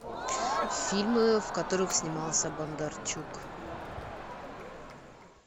фильмы в которых снимался бондарчук